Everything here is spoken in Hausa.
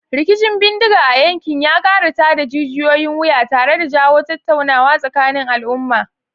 Rikicin bindiga a yankin ya kara tada jijiyoyin wuya tare da jawo tattaunawa tsakanin al'umma.